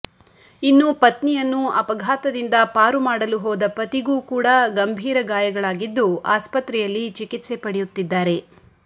ಇನ್ನು ಪತ್ನಿಯನ್ನು ಅಪಘಾತದಿಂದ ಪಾರುಮಾಡಲು ಹೋದ ಪತಿಗೂ ಕೂಡಾ ಗಂಭೀರ ಗಾಯಗಳಾಗಿದ್ದು ಆಸ್ಪತ್ರೆಯಲ್ಲಿ ಚಿಕಿತ್ಸೆ ಪಡೆಯುತ್ತಿದ್ದಾರೆ